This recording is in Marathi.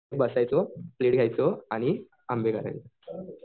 बसायचो घ्यायचो आणि आंबे